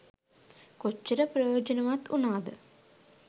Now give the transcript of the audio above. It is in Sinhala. කොච්චර ප්‍රයෝජනවත් වුණාද?